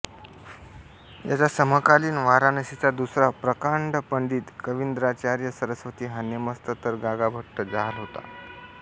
याचा समकालीन वाराणसीचा दुसरा प्रकांड पंडित कवींद्राचार्य सरस्वती हा नेमस्त तर गागाभट्ट जहाल होता